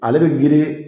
Ale bɛ girin